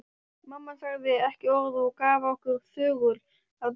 Mamma sagði ekki orð og gaf okkur þögul að borða.